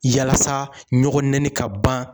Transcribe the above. Yalasa ɲɔgɔn nɛni ka ban